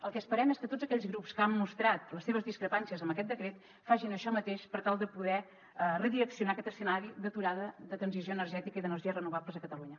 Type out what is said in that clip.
el que esperem és que tots aquells grups que han mostrat les seves discrepàncies amb aquest decret facin això mateix per tal de poder redireccionar aquest escenari d’aturada de transició energètica i d’energies renovables a catalunya